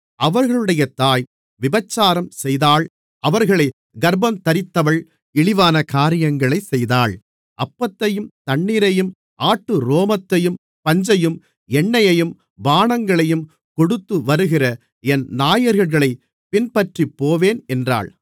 அவர்களுடைய தாய் விபச்சாரம்செய்தாள் அவர்களைக் கர்ப்பந்தரித்தவள் இழிவான காரியங்களைச் செய்தாள் அப்பத்தையும் தண்ணீரையும் ஆட்டுரோமத்தையும் பஞ்சையும் எண்ணெயையும் பானங்களையும் கொடுத்துவருகிற என் நாயகர்களைப் பின்பற்றிப்போவேன் என்றாள்